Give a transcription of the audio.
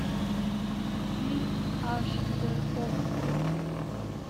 фильм аш дэ окко